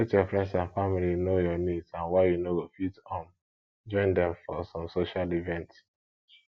let your friends and family know your needs and why you no go fit um join them for some social events